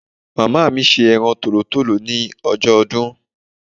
Ìyá mi se eran tòlótòló ni ojó odún